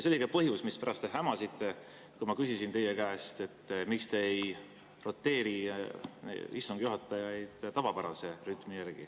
See oli põhjus, mispärast te hämasite, kui ma küsisin teie käest, miks te ei roteeri istungi juhatajaid tavapärase rütmi järgi.